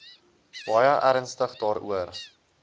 baie ernstig daaroor